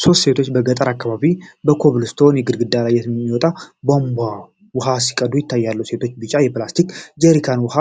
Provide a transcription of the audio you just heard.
ሶስት ሴቶች በገጠር አካባቢ ከኮብልስቶን ግድግዳ ላይ ከሚወጣ ቧንቧ ውሃ ሲቀዱ ይታያሉ። ሴቶቹ ቢጫ የፕላስቲክ ጀሪካኖችን በውሃ